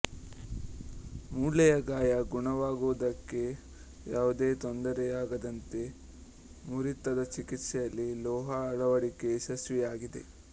ಮೂಳೆಯ ಗಾಯ ಗುಣವಾಗುವುದಕ್ಕೆ ಯಾವುದೇ ತೊಂದರೆಯಾಗದಂತೆ ಮುರಿತದ ಚಿಕೆತ್ಸೆಯಲ್ಲಿ ಲೋಹ ಅಳವಡಿಕೆ ಯಶಸ್ವಿಯಾಗಿದೆ